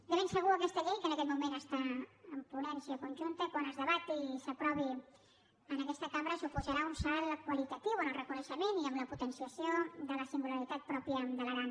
de ben segur aquesta llei que en aquest moment està en ponència conjunta quan es debati i s’aprovi en aquesta cambra suposarà un salt qualitatiu en el reconeixement i en la potenciació de la singularitat pròpia de l’aran